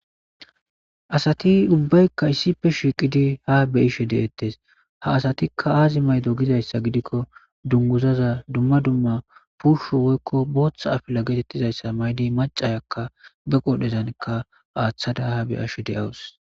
Asati ubbaykka issife shiiqidi ha be ishe deettes ha asatikka aazi maydo gizayssa gidikko dunguzaza dumma dumma puusho woykko booththa afila geetettizayssa maydi macayakka be qodhezanka aaththada ha beyashe deawus.